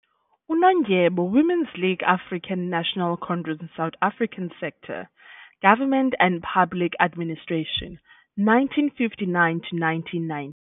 Unondyebo- Women's League, African National Congress, South Africa Sector Government and Public Administration, 1959 to1990.